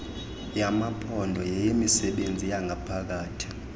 lwamaphondo yeyemisebenzi yangaphakathi